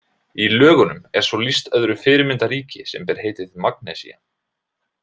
Í Lögunum er svo lýst öðru fyrirmyndarríki sem ber heitið Magnesía.